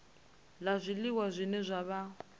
la zwiliwa zwine zwa vha